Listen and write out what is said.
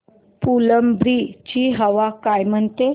फुलंब्री ची हवा काय म्हणते